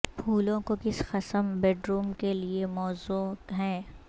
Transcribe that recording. پھولوں کو کس قسم بیڈروم کے لئے موزوں ہیں